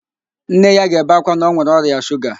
Nne ya ga-ebe ákwá na ọ nwere ọrịa shuga